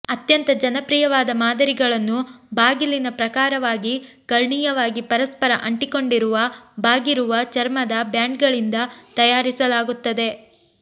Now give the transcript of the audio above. ಅತ್ಯಂತ ಜನಪ್ರಿಯವಾದ ಮಾದರಿಗಳನ್ನು ಬಾಗಿಲಿನ ಪ್ರಕಾರವಾಗಿ ಕರ್ಣೀಯವಾಗಿ ಪರಸ್ಪರ ಅಂಟಿಕೊಂಡಿರುವ ಬಾಗಿರುವ ಚರ್ಮದ ಬ್ಯಾಂಡ್ಗಳಿಂದ ತಯಾರಿಸಲಾಗುತ್ತದೆ